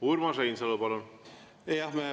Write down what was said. Urmas Reinsalu, palun!